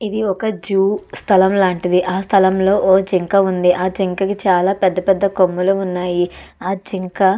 ఇది ఒక జూ స్థలం లాంటిది. ఆ స్థలంలో ఒక జింక ఉంది. ఆ జింకకి చాలా పెద్ద పెద్ద కొమ్ములు ఉన్నాయి. ఆ జింక--